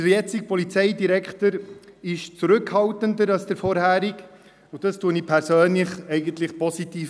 Der jetzige Polizeidirektor ist zurückhaltender als der vorherige, und dies werte ich persönlich eigentlich positiv.